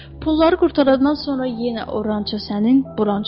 Pulları qurtarandan sonra yenə o ranço sənin, bu ranço mənim.